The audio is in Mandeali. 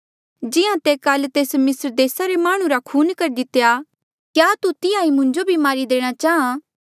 जिहां तैं काल तेस मिस्र देसा रे माह्णुं रा खून करी दितेया क्या तू तिहां ई मुंजो भी मारी देणा चाहां